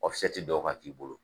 dɔw ka k'i bolo.